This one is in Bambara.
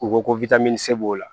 U ko ko se b'o la